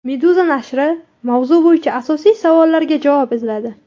Meduza nashri mavzu bo‘yicha asosiy savollarga javob izladi .